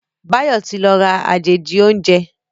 Bayo ti ló rà àjèjì oúnjẹ